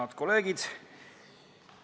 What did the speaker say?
Head kolleegid!